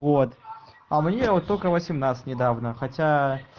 вот а мне вот только восемнадцать недавно хотя